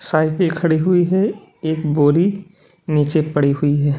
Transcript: Cycle खड़ी हुई है एक बोरी नीचे पड़ी हुई है।